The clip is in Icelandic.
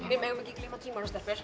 við megum ekki gleyma tímanum stelpur